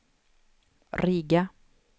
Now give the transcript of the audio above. Riga